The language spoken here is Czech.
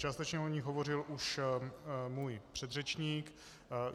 Částečně o nich hovořil už můj předřečník.